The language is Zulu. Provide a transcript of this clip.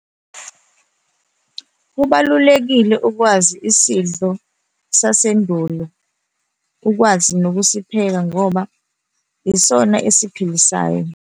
Kubalulekile ukwazi isidlo sasendulo, ukwazi nokusipheka ngoba yisona esiphilisayo.